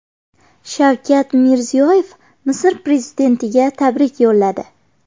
Shavkat Mirziyoyev Misr prezidentiga tabrik yo‘lladi.